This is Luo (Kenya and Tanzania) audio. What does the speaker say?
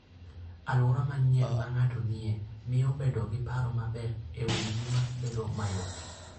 Alwora manyien ma ng'ato nie, miyo bedo gi paro maber e wi ngima bedo mayot.